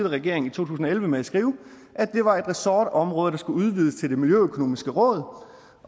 regering i to tusind og elleve med at skrive at det var et ressortområde der skulle udvides til det miljøøkonomiske råd